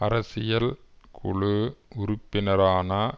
அரசியல் குழு உறுப்பினரான